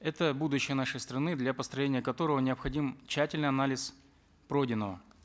это будущее нашей страны для построения которого необходим тщательный анализ пройденного